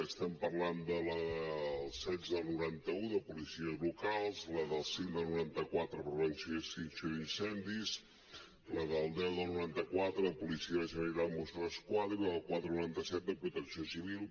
estem parlant de la setze del noranta un de policies locals la cinc del noranta quatre de prevenció i extinció d’incendis la deu del noranta quatre de policia de la generalitat mossos d’esquadra i la quatre noranta set de protecció civil